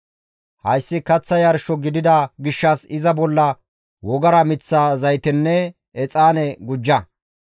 Hayssi kaththa yarsho gidida gishshas iza bolla wogara miththa zaytenne exaane gujja.